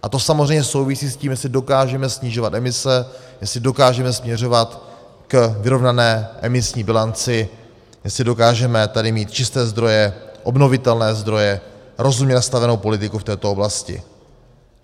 A to samozřejmě souvisí s tím, jestli dokážeme snižovat emise, jestli dokážeme směřovat k vyrovnané emisní bilanci, jestli dokážeme tady mít čisté zdroje, obnovitelné zdroje, rozumně nastavenou politiku v této oblasti.